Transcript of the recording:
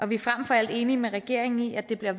vi er frem for alt enige med regeringen i at det er